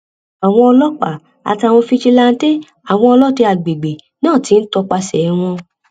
àwọn ọlọpàá àtàwọn fijilantànté àwọn ọlọdẹ àgbègbè náà ti ń tọpasẹ wọn